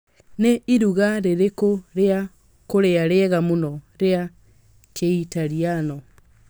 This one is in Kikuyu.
Nĩ iruga rĩrĩkũ rĩa kũrĩa rĩega mũno rĩa kiitaliano